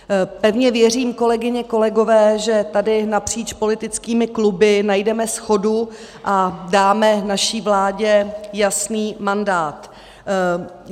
Pevně věřím, kolegyně, kolegové, že tady napříč politickými kluby najdeme shodu a dáme naší vládě jasný mandát.